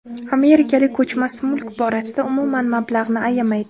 Amerikalik ko‘chmas mulk borasida umuman mablag‘ni ayamaydi.